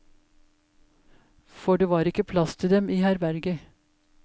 For det var ikke plass til dem i herberget.